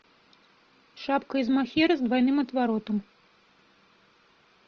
шапка из махера с двойным отворотом